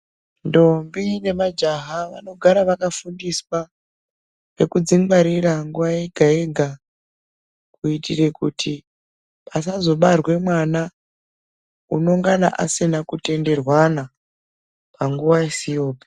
Ndombi nemajaha vanogara vakafundiswa zvekudzingwarira nguva yega-vega. Kuitire kuti pasazobarwa mwana unongana asina kutenderwana panguva isiyopi.